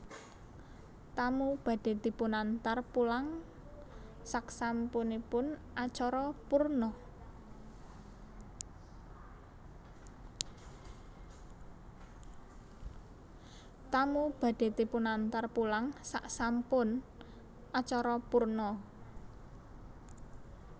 Tamu badhe dipunantar pulang saksampun acara purna